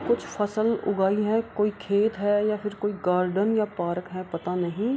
कुछ फसल उगल हैं कोई खेत हैं या फिर कोई गार्डन या पार्क है पता नहीं।